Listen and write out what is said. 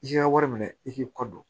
I ka wari minɛ i k'i kɔ don